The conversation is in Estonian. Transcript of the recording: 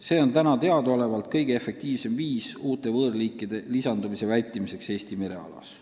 See on teadaolevalt kõige efektiivsem viis uute võõrliikide lisandumise vältimiseks Eesti merealas.